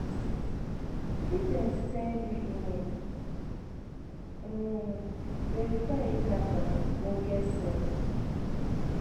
If dem send you mail, um verify if na from ogbonge source